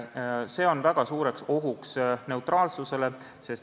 See on väga suur oht neutraalsusele.